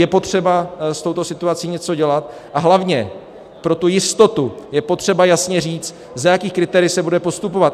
Je potřeba s touto situací něco dělat a hlavně pro tu jistotu je potřeba jasně říct, za jakých kritérií se bude postupovat.